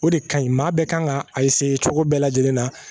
O de ka ɲi maa bɛɛ kan ka cogo bɛɛ lajɛlen na